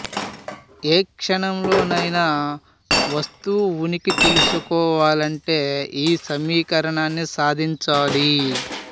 ఏ క్షణంలో నైనా వస్తువు ఉనికి తెలుసుకోవాలంటే ఈ సమీకరణాన్ని సాధించాలి